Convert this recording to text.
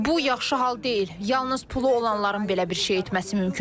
Bu yaxşı hal deyil, yalnız pulu olanların belə bir şey etməsi mümkündür.